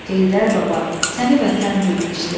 Heydər baba, səni vətən bilmişdim.